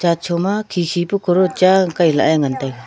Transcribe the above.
chacho ma khikhi pe cross cha Kai la e ngan taiga.